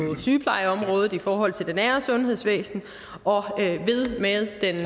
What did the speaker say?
sygeplejeområdet i forhold til det nære sundhedvæsen og med den